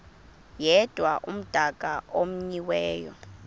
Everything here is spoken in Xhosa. yedwa umdaka omenyiweyo